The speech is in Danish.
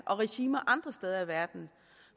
regimer andre steder i verden